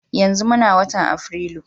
Yanzu muna watan afirilu